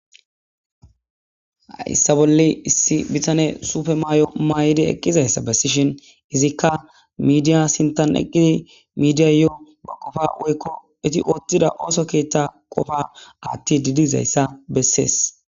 Hayisa bolli issi bittane suppe mayo mayidi eqizayisa besishin izika midiya sinthan eqidi midiyayo eta kofa woyko ethi othida osoketha qofa athidi dizaysa beses.